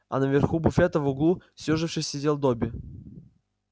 а на верху буфета в углу съёжившись сидел добби